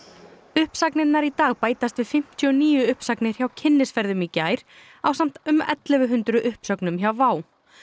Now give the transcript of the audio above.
uppsagnirnar í dag bætast við fimmtíu og níu uppsagnir hjá Kynnisferðum í gær ásamt um ellefu hundruð uppsögnum hjá WOW